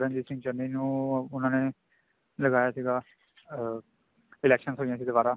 ਚਰਨਜੀਤ ਸਿੰਘ ਚੰਨੀ ਨੂੰ ਉਹਨਾ ਨੇ ਲਗਾਇਆ ਸੀਗਾ ਅਹ election ਹੋਈਆਂ ਸੀ ਦੁਬਾਰਾ